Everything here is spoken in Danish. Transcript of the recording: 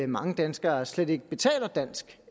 mange danskere slet ikke betaler dansk